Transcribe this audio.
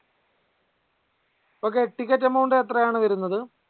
ok ticket amount എത്രയാണ് വരുന്നത്